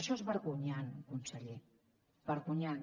això és vergonyant conseller vergonyant